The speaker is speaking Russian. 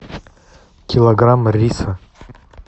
килограмм риса